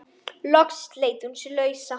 Loks sleit hún sig lausa.